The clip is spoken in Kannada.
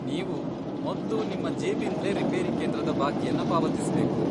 ನೀವು ಮೊದ್ಲು ನಿಮ್ಮ ಜೇಬಿಂದ್ಲೇ ರಿಪೇರಿ ಕೇಂದ್ರದ ಬಾಕಿಯನ್ನ ಪಾವತಿಸ್ಬೇಕು.